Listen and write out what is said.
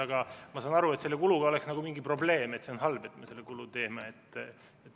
Aga ma saan aru, et selle kuluga oleks nagu mingi probleem, et see on halb, et me selle kulu teeme.